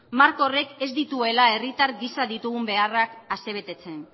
marko horrek ez dituela herritar gisa ditugun beharrak asebetetzen